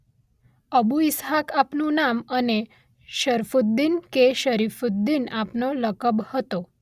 અબૂ ઇસ્હાક આપનું નામ અને શર્ફુદ્દીન કે શરીફુદ્દીન આપનો લકબ હતો.